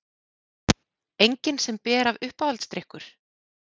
Engin sem ber af Uppáhaldsdrykkur?